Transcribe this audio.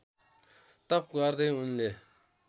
तप गर्दै उनले